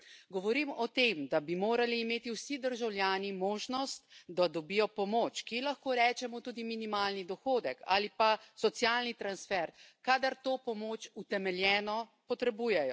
Govorim o tem, da bi morali imeti vsi državljani možnost, da dobijo pomoč, ki lahko rečemo tudi minimalni dohodek ali pa socialni transfer, kadar to pomoč utemeljeno potrebujejo.